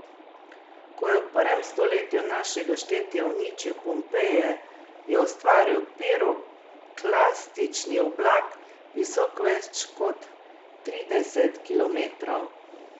Ko je v prvem stoletju našega štetja uničil Pompeje, je ustvaril piroklastični oblak, visok več kot trideset kilometrov.